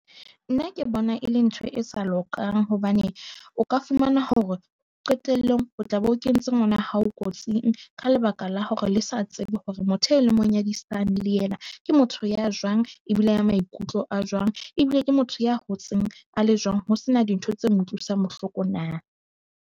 Nna ke bona e le ntho e sa lokang hobane o ka fumana hore qetellong o tla be o kentse ngwana hao kotsing. Ka lebaka la hore le sa tsebe hore motho e le mo nyadisang le yena ke motho ya jwang e bile ya maikutlo a jwang, ebile ke motho ya hotseng a le jwang. Ho sena dintho tse mo utlwisang bohloko na?